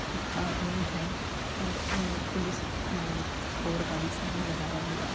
एक आदमी है और आ- पुलिस- आ- बोर्ड का भी साइन लगाया हुआ है।